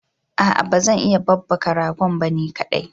Aa bazan iya babbaka ragon ba ni kadai